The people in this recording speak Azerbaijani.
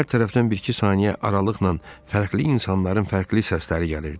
Hər tərəfdən bir-iki saniyə aralıqla fərqli insanların fərqli səsləri gəlirdi.